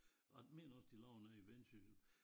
Og jeg mener også de laver noget i Vendsyssel